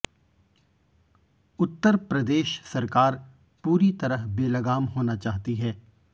उत्तर प्रदेश सरकार पूरी तरह बेलगाम होना चाहती है